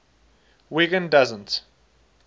wiggin doesn t